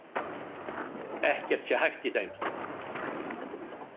Ekkert sé hæft í þeim